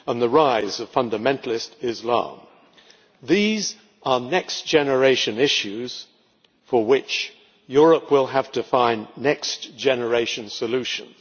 and the rise of fundamentalist Islam these are next generation issues, for which Europe will have to find next generation solutions.